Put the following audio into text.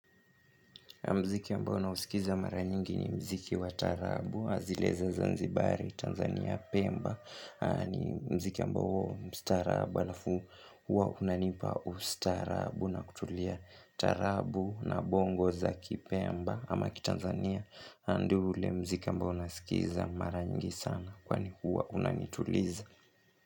Mziki ambao na usikiza mara nyingi ni mziki wa taarabu zile za zanzibari Tanzania Pemba ni mziki ambao mstarabu alafu huwa unanipa ustaarabu na kutulia taarabu na bongo za kipemba Ama ki Tanzania ndo ule mziki ambao nasikiza mara nyingi sana kwani huwa unanituliza.